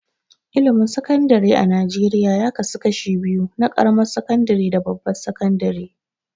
Ilimin Sakandare a Najeriya ya kasu kashi biyu na ƙaramar sakandare da babbar sakandare.